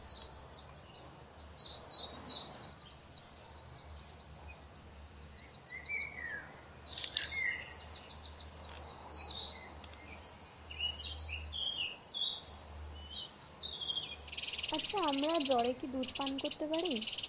আচ্ছা আমরা জ্বরে কি দুধ পান করতে পারি?